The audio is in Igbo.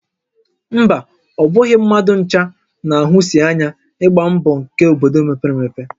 Mba, ọ bụghị mmadụ ncha na-ahụsi ányá ịgba mbọ nkè obodo mepere emepe